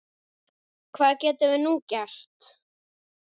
Hvað getum við nú gert?